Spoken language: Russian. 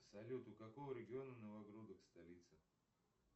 салют у какого региона новогрудок столица